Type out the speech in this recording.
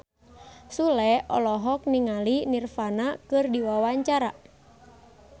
Sule olohok ningali Nirvana keur diwawancara